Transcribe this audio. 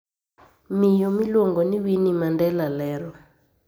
Miyo miluonigo nii Wininiie Manidela lero